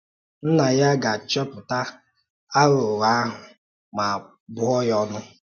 Nnà ya gà-achọpụ̀tà àghụ̀ghọ̀ ahụ̀ ma bụ̀ọ ya ọ̀nụ̀